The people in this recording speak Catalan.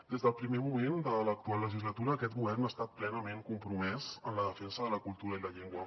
des del primer moment de l’actual legislatura aquest govern ha estat plenament compromès en la defensa de la cultura i la llengua